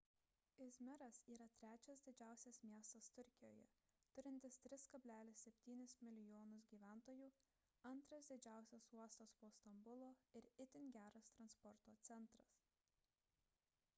izmiras yra trečias didžiausias miestas turkijoje turintis 3,7 mln gyventojų antras didžiausias uostas po stambulo ir itin geras transporto centras